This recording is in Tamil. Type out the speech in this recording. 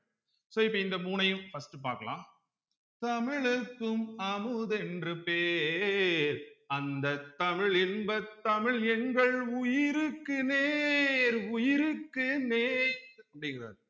so இப்ப இந்த மூணையும் first பார்க்கலாம் தமிழ்க்கும் அமுதென்று பேர் அந்த தமிழ் இன்ப தமிழ் எங்கள் உயிருக்கு நேர் உயிருக்கு நேர் அப்டிங்கறார்